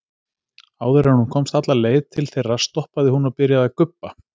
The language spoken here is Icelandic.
Áður en hún komst alla leið til þeirra stoppaði hún og byrjaði að gubba.